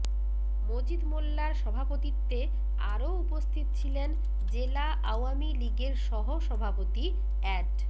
মজিদ মোল্লার সভাপতিত্বে আরও উপস্থিত ছিলেন জেলা আওয়ামী লীগের সহসভাপতি অ্যাড